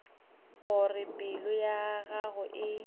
gore pelo ya gago e